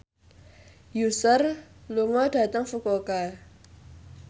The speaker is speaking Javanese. Usher lunga dhateng Fukuoka